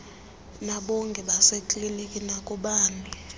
nakubongikazi basekliniki nakubani